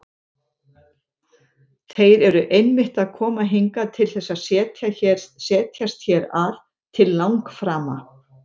Þeir eru einmitt að koma hingað til þess að setjast hér að til langframa!